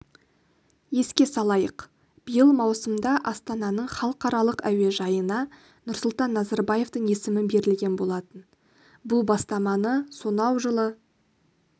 еске салайық биыл маусымда астананың халықаралық әуежайына нұрсұлтан назарбаевтың есімі берілген болатын бұл бастаманы сонау жылы